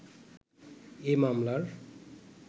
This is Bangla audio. এ মামলার